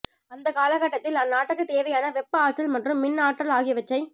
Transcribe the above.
அந்த காலகட்டத்தில் அந்தநாட்டுக்குத் தேவையான வெப்ப ஆற்றல் மற்றும் மின் ஆற்றல் ஆகியவற்றை